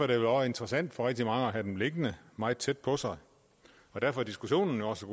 det også interessant for rigtig mange at have dem liggende meget tæt på sig og derfor er diskussionen også